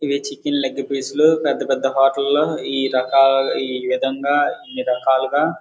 ఇవి chicken leg పీసులు పెద్ద పెద్ద హోటల్లో ఈ రకాల ఈ విధంగా ఇన్ని రకాలుగా --